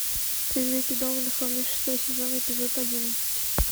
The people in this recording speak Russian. призраки дома на холме шестой сезон эпизод одиннадцать